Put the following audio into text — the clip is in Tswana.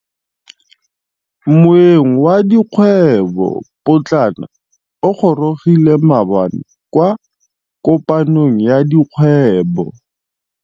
Moêng wa dikgwêbô pôtlana o gorogile maabane kwa kopanong ya dikgwêbô.